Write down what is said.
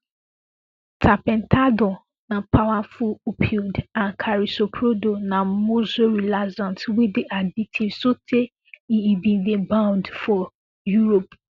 tapentadol na powerful opioid and carisoprodol na muscle relaxant wey dey addictive sotay e e bin dey banned for europe